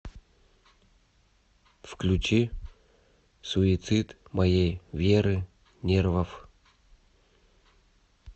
включи суицид моей веры нервов